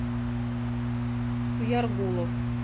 суяргулов